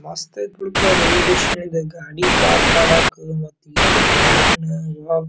ಮಸ್ತ ಆಯಿತ್ತೆ ಬಿಡಪ್ಪ ರೈಲ್ವೆ ಸ್ಟೇಷನ್ ಇದ ಗಾಡಿ ಪಾರ್ಕ್ ಮಾಡೋಕ್ಕೂ ಮತ್ತೆ ಈ ಸೈಡ್ ಗಾರ್ಡನ್ ಇವಾಗ್--